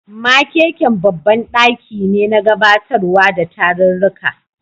Makeken babban daki ne na gabatarwa da tarurruka.